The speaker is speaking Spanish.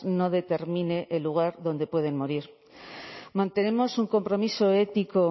no determine el lugar donde pueden morir mantenemos un compromiso ético